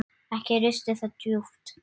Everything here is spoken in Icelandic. Ekki risti það djúpt.